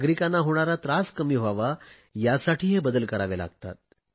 नागरिकांना होणारा त्रास कमी व्हावा यासाठी हे बदल करावे लागतात